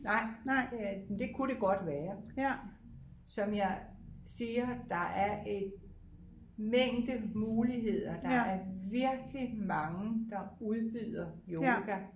Nej det er men det kunne det godt være som jeg siger der er en mængde muligheder der er virkelig mange der udbyder yoga